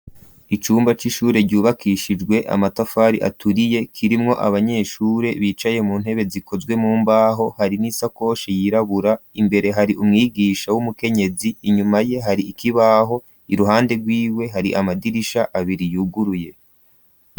Icumba c'ishure ryubakishijwe amatafari aturiye kirimwo abanyeshure bicaye mu ntebe zikozwe mu mbaho hari n'isakoshi yirabura imbere hari umwigisha w'umukenyezi inyuma ye hari ikibaho iruhande rwiwe hari amadirisha abiri yuguruye.